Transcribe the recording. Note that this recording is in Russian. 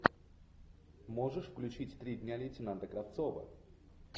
можешь включить три дня лейтенанта кравцова